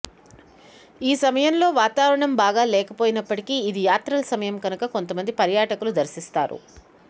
ఈ సమయంలో వాతావరణం బాగా లేకపోయినప్పటికీ ఇది యాత్రల సమయం కనుక కొంత మంది పర్యాటకులు దర్శిస్తారు